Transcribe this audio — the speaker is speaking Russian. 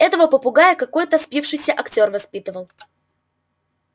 этого попугая какой-то спившийся актёр воспитывал